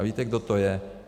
A víte, kdo to je?